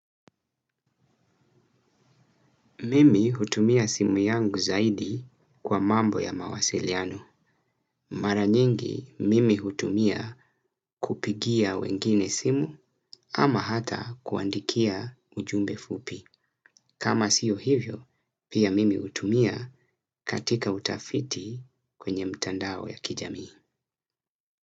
Mimi hutumia simu yangu zaidi kwa mambo ya mawasiliano. Mara nyingi, mimi hutumia kupigia wengine simu ama hata kuandikia ujumbe fupi. Kama siyo hivyo, pia mimi hutumia katika utafiti kwenye mtandao ya kijamii.